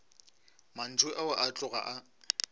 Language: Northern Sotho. mantšu ao a tloga a